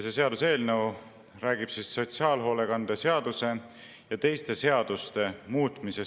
See seaduseelnõu räägib sotsiaalhoolekande seaduse ja teiste seaduste muutmisest.